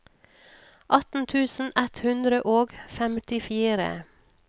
atten tusen ett hundre og femtifire